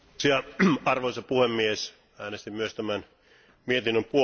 Arvoisa puhemies, äänestin myös tämän mietinnön puolesta.